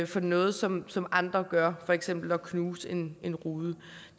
for noget som som andre gør for eksempel at knuse en en rude